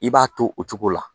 I b'a to o cogo la